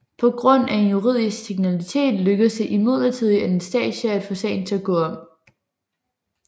På grund af en juridisk teknikalitet lykkedes det imidlertid Anastasia at få sagen til at gå om